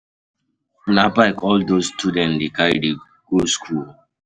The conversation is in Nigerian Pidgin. Na bike all dese students dey carry dey carry go skool o.